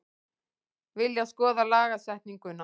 Vilja skoða lagasetningu